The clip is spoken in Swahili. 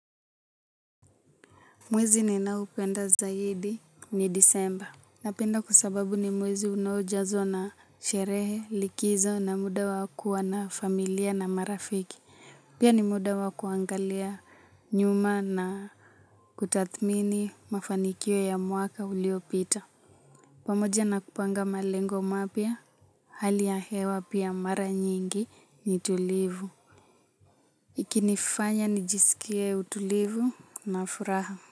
Mwezi ninaoupenda zaidi ni disemba. Napenda kwa sababu ni mwezi unaojazwa na sherehe likizo na muda wa kuwa na familia na marafiki. Pia ni muda wa kuangalia nyuma na kutathmini mafanikio ya mwaka uliopita. Pamoja na kupanga malengo mapya hali ya hewa pia mara nyingi ni tulivu. Ikinifanya nijisikie utulivu na furaha.